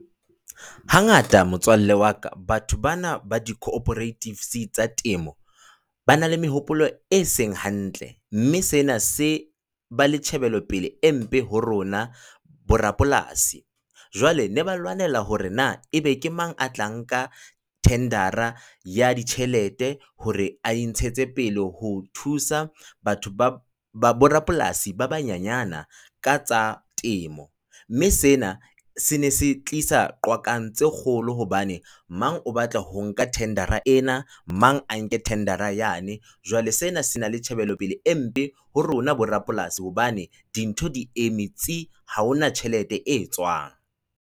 Hangata motswalle wa ka, batho bana ba di-cooperatives tsa temo, ba na le mehopolo e seng hantle mme sena se ba le tjhebelopele e mpe ho rona borapolasi. Jwale ba ne ba lwanela hore na ebe ke mang ya tla nka thendera ya ditjhelete hore a e ntshetse pele ho thusa batho ba borapolasi ba banyenyana ka tsa temo, mme sena se ne se tlisa qwakang tse kgolo hobane mang o batla ho nka thendera ena, mang a nke thendera yane jwale sena se na le tjhebelopele e mpe ho rona borapolasi hobane dintho di eme tsi! Ha hona tjhelete e tswang.